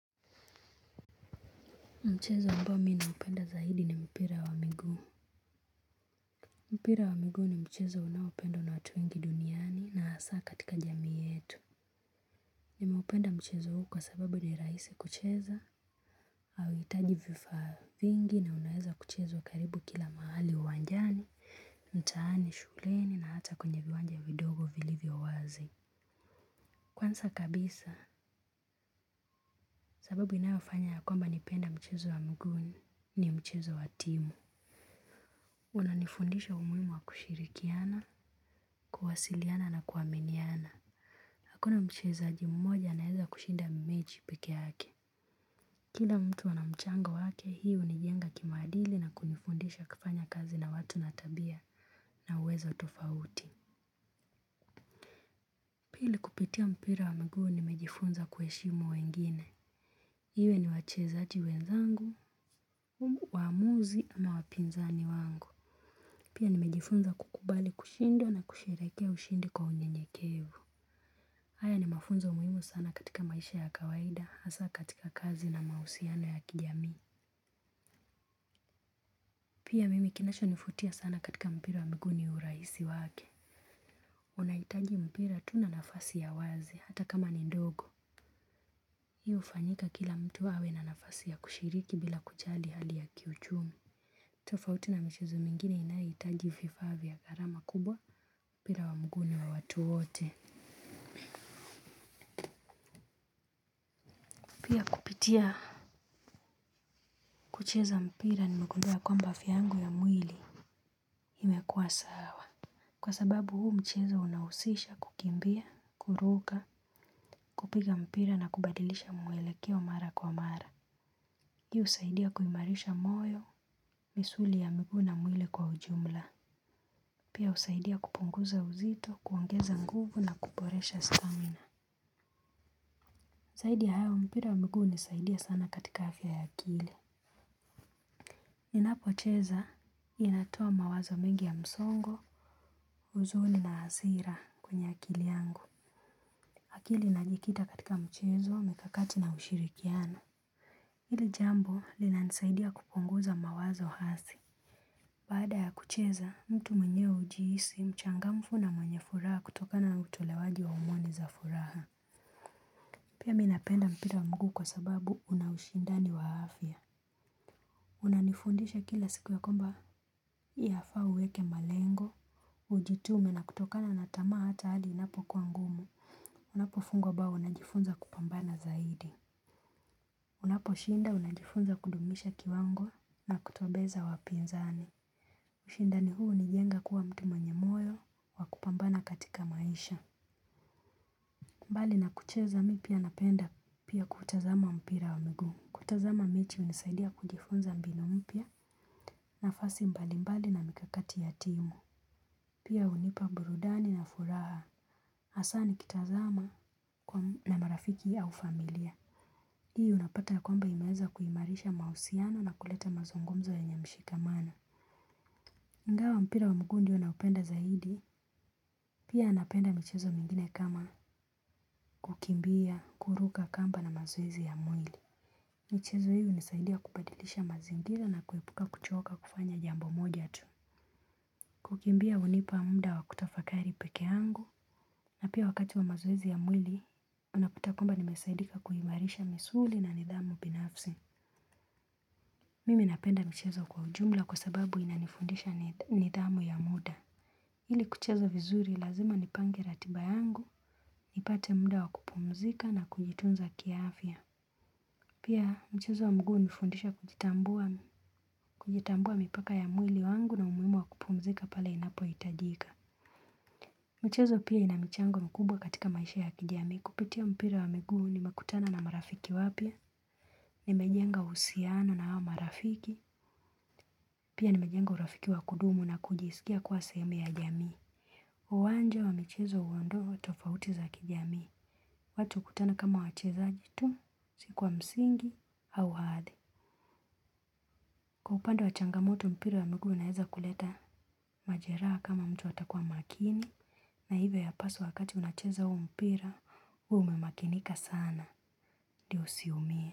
Mchezo ambao minaupenda zaidi ni mpira wa migu. Mpira wa migu ni mchezo unawependwa na watu wengi duniani na asaa katika jami yetu. Nimeupenda mchezo huu kwa sababu ni raisi kucheza auitaji vifa vingi na unaeza kuchezwa karibu kila mahali uwanjani, mtaani, shuleni na hata kwenye viwanja vidogo vilivyo wazi. Kwansa kabisa, sababu inayofanya ya kwamba nipende mchezo wa migu ni mchezo wa timu. Unanifundisha umuimu wa kushirikiana, kuhasiliana na kuwaminiana. Hakuna mchezaji mmoja naeza kushinda meji peke yake. Kila mtu wanamchango wake hii unijenga kimadili na kunifundisha kufanya kazi na watu na tabia na uwezo tofauti. Pili kupitia mpira wa mguu nimejifunza kueshimu wengine. Iwe ni wachezaji wenzangu, umu wamuzi ama wapinzani wangu. Pia nimejifunza kukubali kushindwa na kuseirekea ushindi kwa unyenyekevu. Haya ni mafunzo muimu sana katika maisha ya kawaida, hasa katika kazi na mausiano ya kijami. Pia mimi kinacho nifutia sana katika mpira wa mgu ni uraisi wake. Unaitaji mpira tu na nafasi ya wazi, hata kama ni ndogo. Hi ufanyika kila mtu hawe na nafasi ya kushiriki bila kuchali hali ya kiuchumi. Tofauti na michezo mingine inaitaji fifa vya karama kubwa mpira wa mgu niwa watu wote. Kubitia, kucheza mpira nimegundua kwamba afia yangu ya mwili. Himekuwa sawa. Kwa sababu huu mchezo unawosisha kukimbia, kuruga, kupiga mpira na kubadilisha mwelekeo mara kwa mara. Hii usaidia kuimarisha moyo, misuli ya miguu na mwili kwa ujumla. Pia usaidia kupunguza uzito, kuongeza nguvu na kuporesha stamina. Saidi ya hayo mpira wa migu unisaidia sana katika afya ya akili. Ninapo cheza inatoa mawazo mengi ya msongo, huzuni na azira kwenye akili yangu. Hakili najikita katika mchezo, mikakati na ushirikiano. Hili jambo linanisaidia kupunguza mawazo hasi. Baada ya kucheza, mtu mwenyewe ujihisi, mchangamfu na mwenye furaha kutokana utolewaji wa umwani za furaha. Pia mi napenda mpira wa mguu kwa sababu una ushindani wa afya. Unanifundisha kila siku yakwamba. Yafaa uweke malengo. Ujitume na kutokana na tamaa hata hadi inapokuwa ngumu. Unapo fungwa bao unajifunza kupambana zaidi. Unaposhinda unajifunza kudumisha kiwango na kutobeza wapinzani. Ushindani huu hunijenga kuwa mtu mwenye moyo wa kupambana katika maisha. Mbali na kucheza mi pia napenda pia kutazama mpira wa miguu. Kutazama mechi hunisaidia kujifunza mbinu mpya nafasi mbalimbali na mikakati ya timu. Pia hunipa burudani na furaha. Hasaa nikitazama na marafiki au familia. Hii unapata ya kwamba imeeza kuimarisha mahusiano na kuleta mazungumzo yenye mshikamano. iNgawa mpira wa mguu ndio naunapenda zaidi. Pia napenda michezo mingine kama kukimbia, kuruka kamba na mazoezi ya mwili. Michezo hiyo unisaidia kubadilisha mazingira na kuepuka kuchoka kufanya jambo moja tu. Kukimbia unipa muda wa kutafakari peke angu. Na pia wakati wa mazoezi ya mwili, unapata kwamba nimesaidika kuimarisha misuli na nidhamu binafsi. Mimi napenda michezo kwa ujumla kwa sababu inanifundisha nidhamu ya muda. Ili kucheza vizuri lazima nipange ratiba yangu, nipate muda wa kupumzika na kujitunza kiafya. Pia mchezo wa mguu unifundisha kujitambua, kujitambua mipaka ya mwili wangu na umuhimu wa kupumzika pale inapohitajika. Michezo pia ina michango mkubwa katika maisha ya kijamii kupitia mpira wa miguu nimekutana na marafiki wapya. Nimejenga uhusiano na hawa marafiki. Pia nimejenga urafiki wa kudumu na kujisikia kuwa sehemu ya jamii. Uwanja wa michezo uondoa tofauti za kijamii. Watu ukutana kama wachezaji tu. Si kwa msingi au ahadi. Kwa upande wa changamoto mpira wa miguu unaeza kuleta majeraa kama mtu hatakuwa makini. Na hivyo yapaswa wakati unacheza huo mpira. Uwe umemakinika sana ndio usiumie.